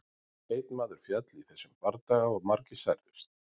Einn maður féll í þessum bardaga og margir særðust.